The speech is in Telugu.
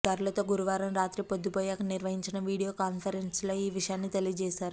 అధికారులతో గురువారం రాత్రి పొద్దుపోయాక నిర్వహించిన వీడియో కాన్ఫరెన్స్లో ఈ విషయాన్ని తెలియజేశారు